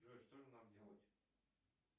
джой что же нам делать